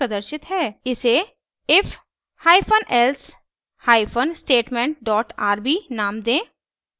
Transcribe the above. इसे if hyphen else hyphen statement dot rb नाम दें